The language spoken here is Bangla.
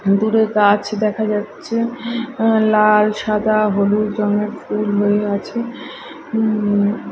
দূরে গাছ দেখা যাচ্ছে লাল সাদা হলুদ রঙের ফুল হয়ে আছে উম--